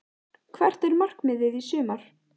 Hvert er markmiðið í sumar?